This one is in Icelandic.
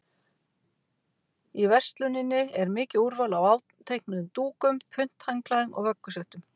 Í versluninni er mikið úrval af áteiknuðum dúkum, punthandklæðum og vöggusettum.